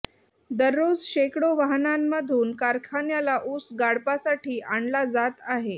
दररोज शेकडो वाहनांमधून कारखान्याला ऊस गाळपासाठी आणला जात आहे